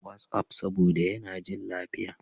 WhatsApp, saboda yana jin lafiya.